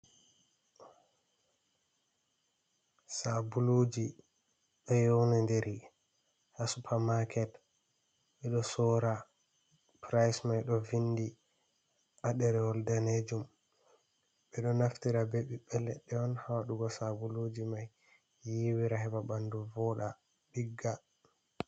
Sabuluji do yewni deri ha supermarket ,bedo sora price mai do vindi haderewol danejum bedo naftira bebi be ledde on hadugo sabuluji mai yiwira heba bandu voda digga.